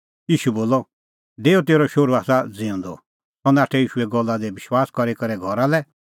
ईशू बोलअ डेऊ तेरअ शोहरू आसा ज़िऊंदअ सह नाठअ ईशूए गल्ला दी विश्वास करी करै घरा लै